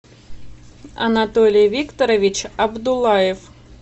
анатолий викторович абдуллаев